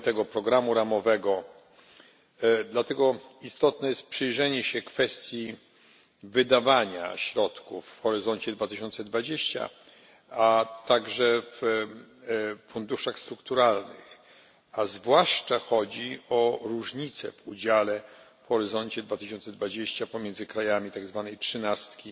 9. programu ramowego. Dlatego istotne jest przyjrzenie się kwestii wydawania środków w Horyzoncie 2020, a także w funduszach strukturalnych, zwłaszcza gdy chodzi o różnice w udziale w Horyzoncie 2020 krajów tak zwanej trzynastki i